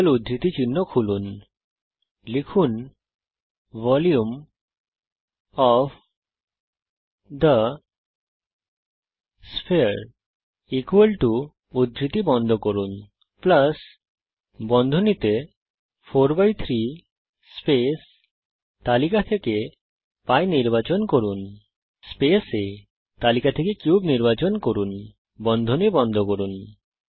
যুগল উদ্ধৃতি চিহ্ন খুলুন ভলিউম ওএফ থে স্ফিয়ার 43 π আ3 লিখুন যুগল উদ্ধৃতি চিহ্ন বন্ধ করুন প্লাস বন্ধনী খুলে 43 স্পেস তালিকা থেকে π নির্বাচন করুন স্পেস A তালিকা থেকে কিউব নির্বাচন করুন বন্ধনী বন্ধ করুন